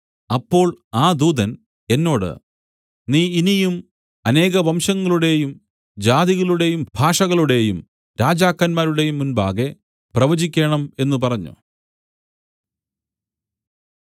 അപ്പോൾ ആ ദൂതന്‍ എന്നോട് നീ ഇനിയും അനേകം വംശങ്ങളുടേയും ജാതികളുടേയും ഭാഷകളുടേയും രാജാക്കന്മാരുടേയും മുമ്പാകെ പ്രവചിക്കേണം എന്നു പറഞ്ഞു